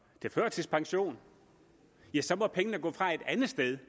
til førtidspension må pengene gå fra et andet sted